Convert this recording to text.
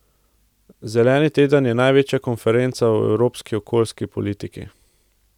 Zeleni teden je največja konferenca o evropski okoljski politiki.